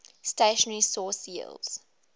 stationary source yields